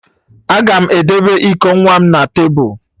Aga m edebe iko nwa m na tebụl